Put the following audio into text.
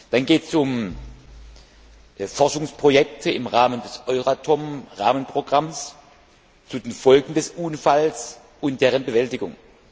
Dann geht es um Forschungsprojekte im Rahmen des Euratom Rahmenprogramms zu den Folgen des Unfalls und deren Bewältigung.